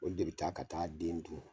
O de be taa ka taa den dun